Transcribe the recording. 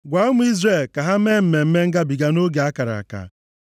“Gwa ụmụ Izrel ka ha mee Mmemme Ngabiga nʼoge a kara aka.